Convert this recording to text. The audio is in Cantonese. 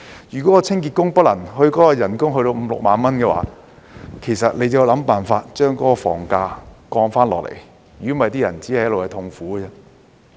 如果清潔工的人工不可達到五六萬元，便要想辦法降低房價，否則那些人只會一直痛苦。